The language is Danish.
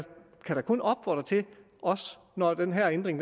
kan da kun opfordre til også når den her ændring